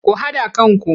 Ku haɗa kanku!